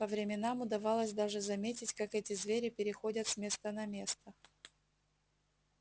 по временам удавалось даже заметить как эти звери переходят с места на место